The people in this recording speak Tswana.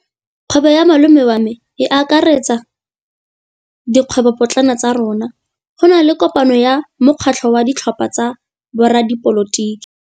Kgwêbô ya malome wa me e akaretsa dikgwêbôpotlana tsa rona. Go na le kopanô ya mokgatlhô wa ditlhopha tsa boradipolotiki.